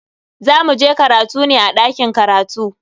Za muje karatu ne a dakin karatu.